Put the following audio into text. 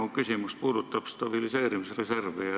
Minu küsimus puudutab stabiliseerimisreservi.